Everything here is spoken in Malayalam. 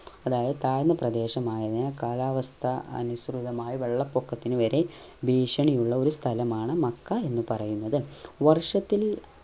അതായത് താഴ്ന്ന പ്രദേശമായതിനാൽ കാലാവസ്ഥ അനുസൃതമായി വെള്ളപ്പൊക്കത്തിന് വരെ ഭീഷണിയുള്ള ഒരു സ്ഥലമാണ് മക്ക എന്ന് പറയുന്നത് വർഷത്തിൽ